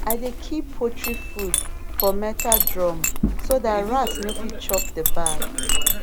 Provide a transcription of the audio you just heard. i dey keep poultry food for metal drum so dat rat no fit chop the bag